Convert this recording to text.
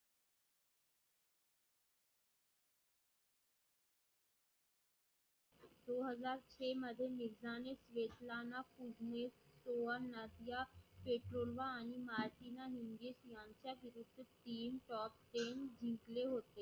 दो हजार छे मध्ये मिर्झा ने वेतलाणा पर्वेस गोवारनाथच्या feturva आणि maarjina niggles यांच्या विरुद्ध तीन top ten जिंकले होते.